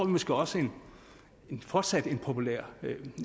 måske også fortsat have en populær